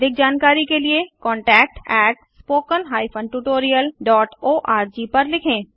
अधिक जानकारी के लिए contactspoken tutorialorg पर लिखें